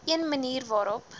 een manier waarop